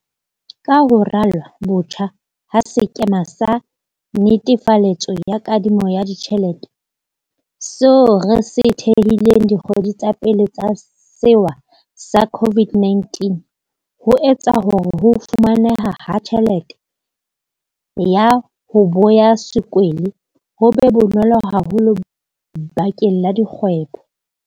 Ka ho ralwa botjha ha sekema sa netefaletso ya kadimo ya ditjhelete, seo re se thehileng dikgweding tsa pele tsa sewa sa COVID-19, ho etsa hore ho fumaneha ha tjhelete ya 'ho boya sekwele' ho be bonolo haholo bakeng la dikgwebo.